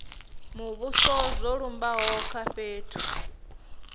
muvhuso zwo lumbaho kha fhethu